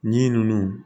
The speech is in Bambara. Ji ninnu